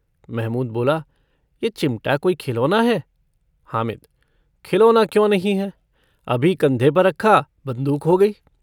महमूद बोला - यह चिमटा कोई खिलौना है? हामिद - खिलौना क्यों नहीं है? अभी कन्धे पर रखा बन्दूक हो गई।